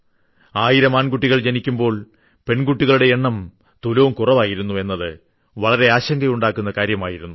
ആയിരം ആൺകുട്ടികൾ ജനിക്കുമ്പോൾ പെൺകുട്ടികളുടെ എണ്ണം തുലോം കുറവായിരുന്നു എന്നത് വളരെ ആശങ്കയുണ്ടാക്കുന്ന കാര്യമായിരുന്നു